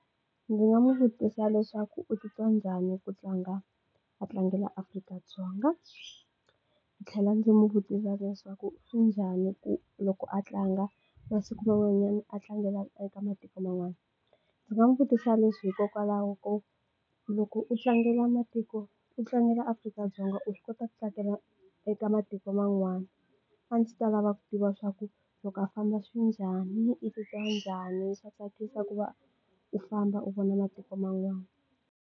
Ndzi nga n'wi vutisa leswaku u titwa njhani ku tlanga a tlangela Afrika-Dzonga ndzi tlhela ndzi n'wi vutisa leswaku swi njhani ku loko a tlanga masiku man'wanyana a tlangela eka matiko man'wana ndzi nga n'wi vutisa leswi hikokwalaho ko loko u tlangela matiko u tlangela Afrika-Dzonga u swi kota ku tsakela eka matiko man'wana a ndzi ta lava ku tiva swa ku loko a famba swi njhani u titwa njhani swa tsakisa ku va u famba u vona matiko man'wana.